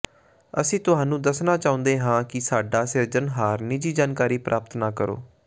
ਅਸੀਂ ਤੁਹਾਨੂੰ ਦੱਸਣਾ ਚਾਹੁੰਦੇ ਹਾਂ ਕਿ ਸਾਡਾ ਸਿਰਜਣਹਾਰ ਨਿੱਜੀ ਜਾਣਕਾਰੀ ਪ੍ਰਾਪਤ ਨਾ ਕਰੋ